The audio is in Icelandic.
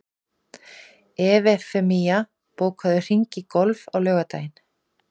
Evfemía, bókaðu hring í golf á laugardaginn.